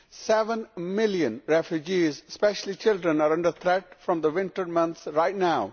Seven million refugees, especially children, are under threat from the winter months right now.